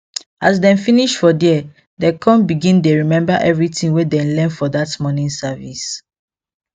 as dem finish for there dem con begin dey remember everything wey dem learn for that morning service